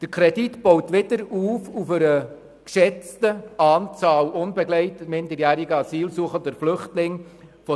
Der Kredit baut auf einer geschätzten Anzahl von 370 UMA auf.